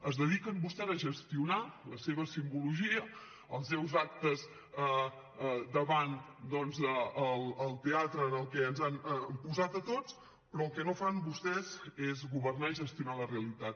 es dediquen vostès a gestionar la seva simbologia els seus actes davant doncs el teatre en què ens han posat a tots però el que no fan vostès és governar i gestionar la realitat